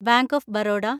bank of Baroda